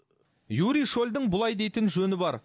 юрий шольдің бұлай дейтін жөні бар